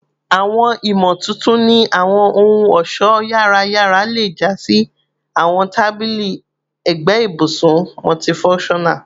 Awọn imotuntun ni awọn ohun-ọṣọ yara yara le ja si awọn tabili ẹgbẹ ibusun multifunctional